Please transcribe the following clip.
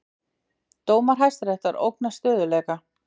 Dómar Hæstaréttar ógna stöðugleika